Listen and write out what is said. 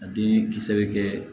A den kisɛ bɛ kɛ